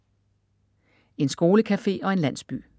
En skolecafé og en landsby